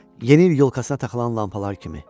Yeni il yolkasına taxılan lampalar kimi.